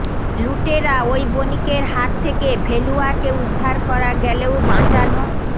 লুটেরা ওই বণিকের হাত থেকে ভেলুয়াকে উদ্ধার করা গেলেও বাঁচানো